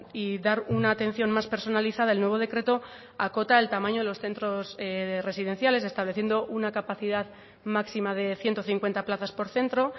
y dar una atención más personalizada el nuevo decreto acota el tamaño de los centros residenciales estableciendo una capacidad máxima de ciento cincuenta plazas por centro